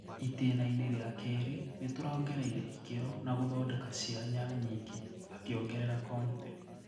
"Itena inĩ ria kĩrĩ nitũraongereire ikero na gũthondeka cianya nyingi",akiongerera Conte.